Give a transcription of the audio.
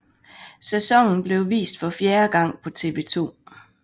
Sæsonen blev vist for fjerde gang på TV 2